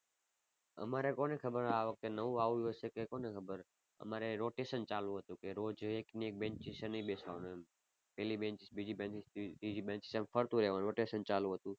અમારે કોને ખબર આ વખતે નવું આવ્યું હશે કે કોને ખબર. અમારે rotation ચાલુ હતું કે રોજ એક ને એક benches એ નહીં બેસવાનું એમ. પહેલી benches બીજી benches ત્રીજી ત્રીજી benches એમ ફરતું રેવાનું rotation ચાલુ હતું.